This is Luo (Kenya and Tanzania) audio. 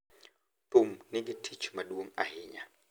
Thum nigi tich maduong’ ahinya,